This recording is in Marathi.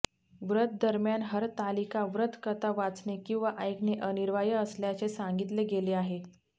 व्रत दरम्यान हरतालिका व्रत कथा वाचणे किंवा ऐकणे अनिवार्य असल्याचे सांगितले गेले आहे